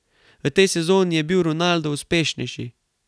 V tej sezoni je bil Ronaldo uspešnejši.